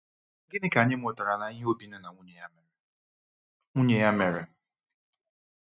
Gịnị ka anyị mụtara n’ihe Obinna na nwunye ya mere? nwunye ya mere?